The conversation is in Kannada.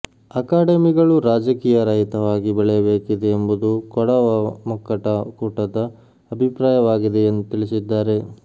ಅಕಾಡೆಮಿಗಳು ರಾಜಕೀಯ ರಹಿತವಾಗಿ ಬೆಳೆಯಬೇಕಿದೆ ಎಂಬುದು ಕೊಡವ ಮಕ್ಕಟ ಕೂಟದ ಅಭಿಪ್ರಾಯವಾಗಿದೆ ಎಂದು ತಿಳಿಸಿದ್ದಾರೆ